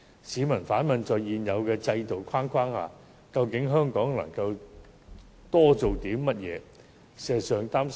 市民反問，在現有制度框架下，香港究竟可多做些甚麼事？